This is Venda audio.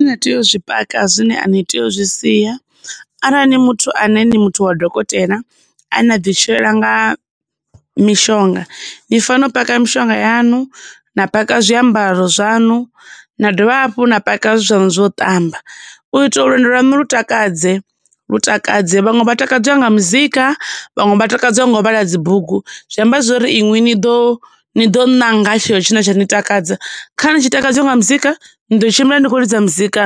Zwine na tea u zwi paka zwine a ni tei u zwi sia. Arali ni muthu ane ni muthu wa dokotela, ane a ḓi tshilela nga mishonga, ni fanela u paka mishonga yaṋu, na paka zwiambaro zwaṋu, na dovha hafhu na paka zwithu zwanu zwo ṱamba. U itela uri lwendo lwaṋu lu takadze, lu takadze vhaṅwe vha takadzwa nga muzika vhaṅwe vha takadzwa nga u vhala dzibugu, zwi amba zwa uri inwi ni ḓo, ni ḓo ṋanga tshe tsho tshine tsha ni takadza, kharali ni tshi takadziwa nga muzika ni ḓo tshimbila ni kho lidza muzika